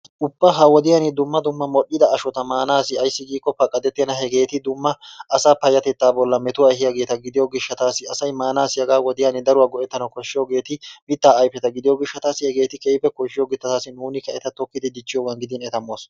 Ubba ha wodiyaan dumma dumma modhida ashshota maanassi aysi giikko paqadettenna eti dumma asaa payattettaa bollaan meetuwaa eehiyaageta gidiyoo gishshatasi asay maanassi hagaa wodiyaan daruwaa go"ettanawu koshshiyoogeti mittaa ayfetta gidiyoo gishshatassi hegeti keehippe kooshiyoogeta he miittata nuunikka eta tokkiidi diichchiyoogaa giidin eta moos.